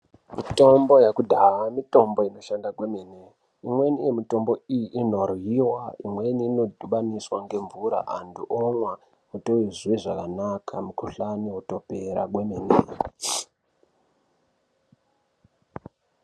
Mitombo yekudhaya mitombo inoshanda kwemene imweni mitombo iyi ino dyiwa imweni ino dhubaniswa nge mvura antu omwa kuti uzwe zvakanaka mukuhlani wotopera kwemene.